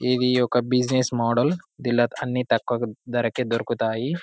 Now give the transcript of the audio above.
ఇది ఒక business model దింట్ల అన్ని తక్కువ ధరకే దొరుకుతాయి